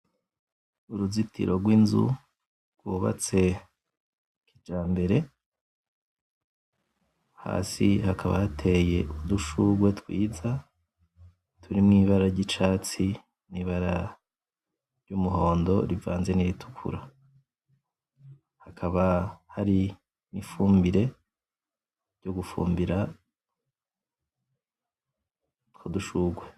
Uruzitiro gw'inzu gw'ubatse kijambere hasi hakaba hateye udushugwe twiza turimwo ibara ry'icatsi nibara ry'umuhondo rivanze n’iritukura hakaba hari nifumbire yo gufumbira udushugwe.